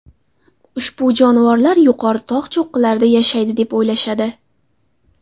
Ushbu jonivorlar yuqori tog‘ cho‘qqilarida yashaydi, deb o‘ylashadi.